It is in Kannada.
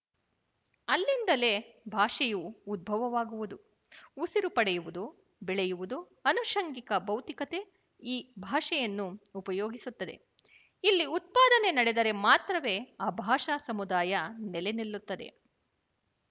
ಅಲ್ಲಿಂದಲೇ ಭಾಷೆಯು ಉದ್ಭವವಾಗುವುದು ಉಸಿರು ಪಡೆಯುವುದು ಬೆಳೆಯುವುದು ಅನುಶಂಗಿಕ ಭೌತಿಕತೆ ಈ ಭಾಷೆಯನ್ನು ಉಪಯೋಗಿಸುತ್ತದೆ ಇಲ್ಲಿ ಉತ್ಪಾದನೆ ನಡೆದರೆ ಮಾತ್ರವೇ ಆ ಭಾಷಾ ಸಮುದಾಯ ನೆಲೆನಿಲ್ಲುತ್ತದೆ